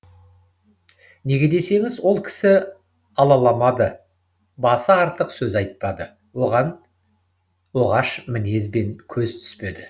неге десеңіз ол кісі алаламады басы артық сөз айтпады оғаш мінезбен көзге түспеді